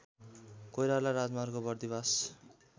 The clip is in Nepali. कोइराला राजमार्ग बर्दीबास